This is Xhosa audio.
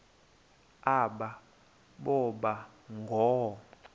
aba boba ngoo